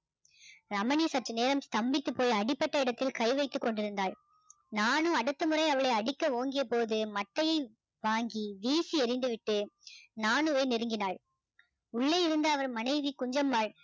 ரமணி சற்று நேரம் ஸ்தம்பித்து போய் அடிபட்ட இடத்து கை வைத்து கொண்டிருந்தாள் நானு அடுத்த முறை அவளை அடிக்க ஓங்கிய பொது மட்டையை வாங்கி வீசி எரிந்து விட்டு நானுவை நெருங்கினாள் உள்ளே இருந்த அவர் மனைவி குஞ்சம்மாள்